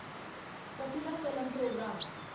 Kapila Kalam programme